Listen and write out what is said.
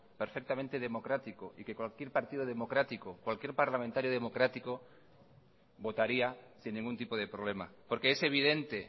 perfectamente democrático y que cualquier partido democrático cualquier parlamentario democrático votaría sin ningún tipo de problema porque es evidente